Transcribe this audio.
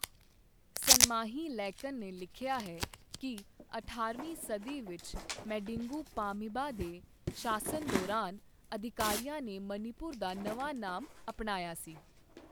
ਸਨਮਾਹੀ ਲੈਕਨ ਨੇ ਲਿਖਿਆ ਹੈ ਕਿ ਅਠਾਰਹਵੀਂ ਸਦੀ ਵਿੱਚ ਮੈਡਿੰਗੂ ਪਾਮੀਬਾ ਦੇ ਸ਼ਾਸਨ ਦੌਰਾਨ ਅਧਿਕਾਰੀਆਂ ਨੇ ਮਣੀਪੁਰ ਦਾ ਨਵਾਂ ਨਾਮ ਅਪਣਾਇਆ ਸੀ।